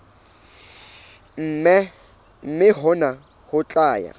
mme hona ho tla ya